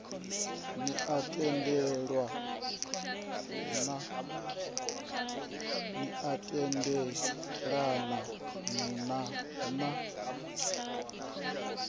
ni a tendelana na na